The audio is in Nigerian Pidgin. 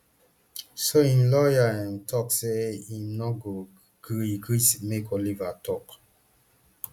so im lawyer um tok say im no go gree gree make oliver tok